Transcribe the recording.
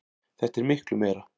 Þetta er miklu meira.